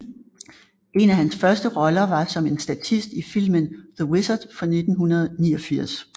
En af hans første roller var som en statist i filmen The Wizard fra 1989